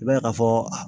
I b'a ye ka fɔ